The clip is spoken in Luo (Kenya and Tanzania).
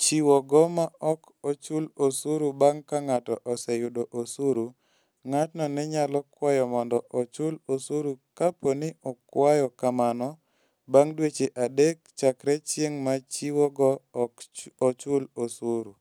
chiwogo ma ok ochul osuru bang' ka ng'ato oseyudo osuru, ng'atno ne nyalo kwayo mondo ochul osuru kapo ni okwayo kamano bang' dweche adek chakre chieng' ma chiwogo ok ochul osuru.